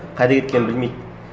қайда кеткенін білмейді